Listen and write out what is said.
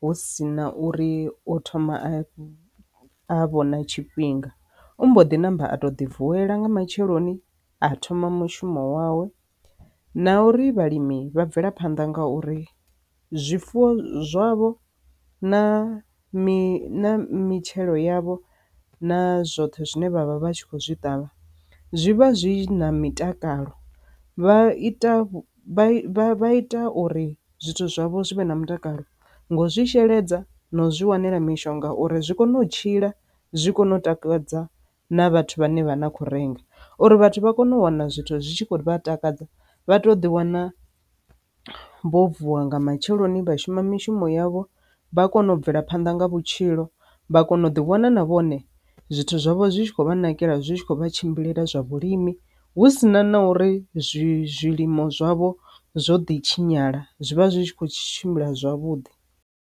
hu si na uri o thoma a a vho na tshifhinga u mbo ḓi namba a to ḓi vuwela nga matsheloni a thoma mushumo wawe na uri vhalimi vha bvelaphanda ngauri zwifuwo zwavho na mitshelo yavho na zwoṱhe zwine vha vha vha tshi kho zwi ṱavha zwi vha zwi na mitakalo vha ita zwa ita uri zwithu zwavho zwi vhe na mutakalo ngo zwi sheledza na u zwi wanela mishonga uri zwi kone u tshila zwi kone u takadza na vhathu vhane vha na kho renga, uri vhathu vha kone u wana zwithu zwi tshi khou vha takadza vha to ḓi wana vho vuwa nga matsheloni vha shuma mishumo yavho vha kone u bvela phanḓa nga vhutshilo vha kone u ḓiwana na vhone zwithu zwavho zwi tshi khou vha nakelela zwi tshi khou vha tshimbilele zwa vhulimi hu sina na uri zwilimo zwavho zwo ḓi tshinyala zwivha zwi tshi kho tshimbila zwavhuḓi.